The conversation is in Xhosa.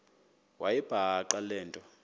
wayibhaqa le nto